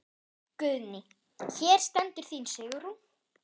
Guðný: Hér stendur þín Sigrún?